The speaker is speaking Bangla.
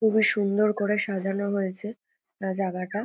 এবার সুন্দর করে সাজানো হয়েছে আ জাগাটা।